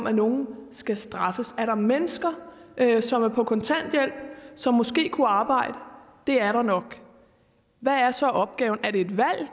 at nogen skal straffes er der mennesker som er på kontanthjælp og som måske kunne arbejde det er der nok hvad er så opgaven er det et valg